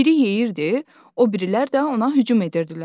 Biri yeyirdi, o birilər də ona hücum edirdilər.